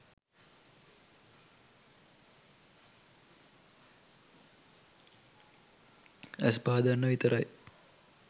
ඇස් පාදන්න විතරයි.